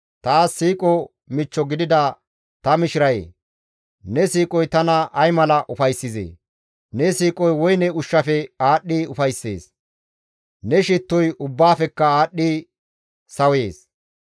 Taas siiqo michcho gidida ta mishirayee! Ne siiqoy tana ay mala ufayssizee! Ne siiqoy woyne ushshafe aadhdhi ufayssees; ne shittoy ubbaafekka aadhdhidi sawees.